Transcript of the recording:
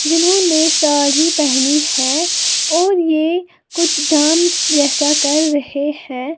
जिन्होंने साड़ी पहनी है और ये कुछ डांस जैसा कर रहे हैं।